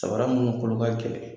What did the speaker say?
Sabara munnu kolo ka gɛlɛn.